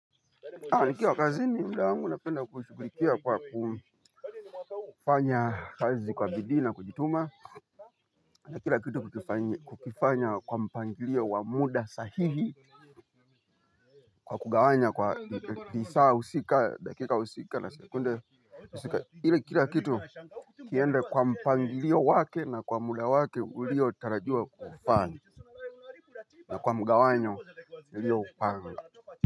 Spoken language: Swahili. Nikiwa kazini muda wangu napenda kushughulikia kwa kufanya kazi kwa bidii na kujituma. Na kila kitu kukifanya kwa mpangilio wa muda sahihi kwa kugawanya kwa lisaa husika, dakika husika na sekunde husika ili kila kitu kiende kwa mpangilio wake na kwa muda wake uliotarajiwa kufanya. Na kwa mgawanyo uliopanga.